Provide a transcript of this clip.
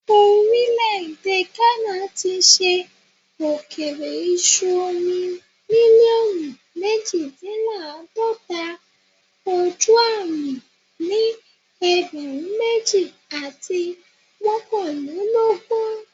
Orile-ede Ghana ti ṣe okeere iṣu omi miliọnu mejidinlaadọta ojuami ni ẹgbẹrun meji ati mọkanlelogun